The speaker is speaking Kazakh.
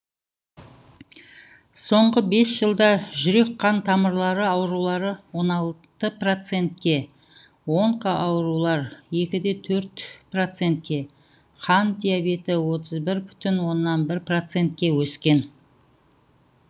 соңғы бес жылда жүрек қан тамырлары аурулары он алты процентке онкоаурулар екі бүтін оннан төрт процентке қант диабеті отыз бір бүтін оннан бір процентке өскен